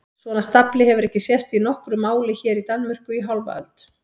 Svona stafli hefur ekki sést í nokkru máli hér í Danmörku í hálfa öld!